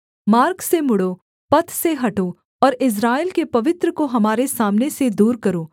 मार्ग से मुड़ो पथ से हटो और इस्राएल के पवित्र को हमारे सामने से दूर करो